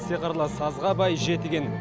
сиқырлы сазға бай жетіген